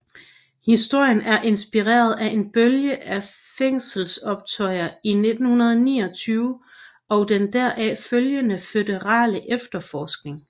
Historien er inspireret af en bølge af fængselsoptøjer i 1929 og den deraf følgende føderale efterforskning